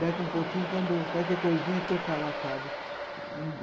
Daqui a pouquinho quando, qualquer coisinha, tocava a fábrica.